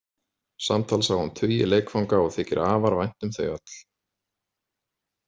Samtals á hann tugi leikfanga og þykir afar vænt um þau öll.